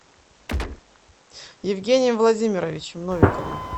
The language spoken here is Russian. евгением владимировичем новиковым